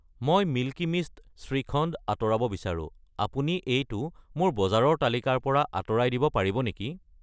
মই মিল্কী মিষ্ট শ্ৰীখণ্ড আঁতৰাব বিচাৰো, আপুনি এইটো মোৰ বজাৰৰ তালিকাৰ পৰা আঁতৰাই দিব পাৰিব নেকি?